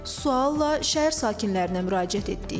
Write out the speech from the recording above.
Sual ilə şəhər sakinlərinə müraciət etdik.